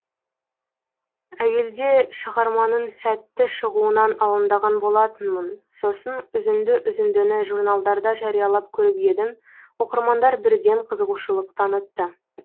әуелде шығарманың сәтті шығуынан алаңдаған болатынмын сосын үзінді үзіндіні журналдарда жариялап көріп едім оқырмандар бірден қызығушылық танытты